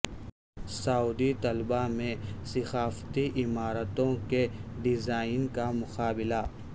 سعودی طلبہ میں ثقافتی عمارتوں کے ڈیزائن کا مقابلہ